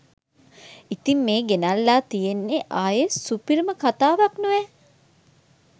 ඉතිං මේ ගෙනෙල්ලා තියෙන්නේ ආයේ සුපිරිම කථාවක් නොවැ